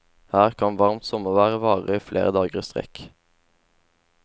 Her kan varmt sommervær vare flere dager i strekk.